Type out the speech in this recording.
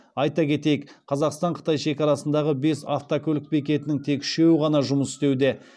айта кетейік қазақстан қытай шекарасындағы бес автокөлік бекетінің тек үшеуі ғана жұмыс істеуде